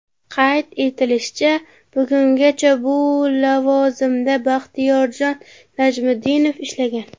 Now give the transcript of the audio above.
Qayd etilishicha, bugungacha bu lavozimda Baxtiyorjon Najmiddinov ishlagan.